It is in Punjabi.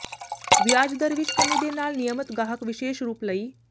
ਵਿਆਜ ਦਰ ਵਿਚ ਕਮੀ ਦੇ ਨਾਲ ਨਿਯਮਤ ਗਾਹਕ ਵਿਸ਼ੇਸ਼ ਰੂਪ ਲਈ